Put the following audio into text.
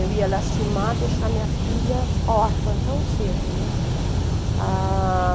Eu ia lastimar, deixar minha filha órfã tão cedo, né? Ah...